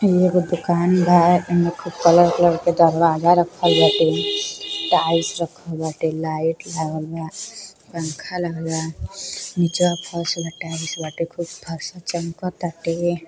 इ एगो दूकान बा। एम्मे खूब कलर-कलर क दरवाज़ा रखल बाटे। टाइल्स रखल बाटे। लाइट लागल बा। पंखा लागल बा। निचवा फर्श में टाइल्स बाटे। खूब फर्श चमकताटे।